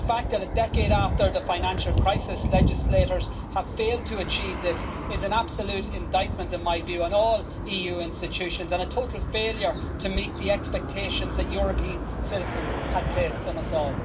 The fact that, a decade after the financial crisis, legislators have failed to achieve this is an absolute indictment, in my view, on all EU institutions and a total failure to meet the expectations that European citizens had placed in us all.